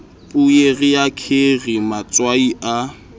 poere ya kheri matswai a